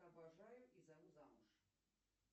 обожаю и зову замуж